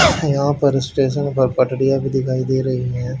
यहां पर स्टेशन पर पटरियां भी दिखाई दे रही हैं।